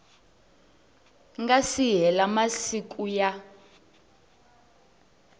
nga si hela masiku ya